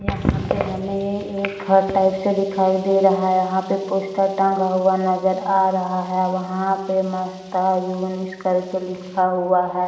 यहां पर हमें ए एक घर टाइप से दिखाई दे रहा है यहां पर पोस्टर टंगा हुआ नजर आ रहा है वहां पे करके लिखा हुआ है।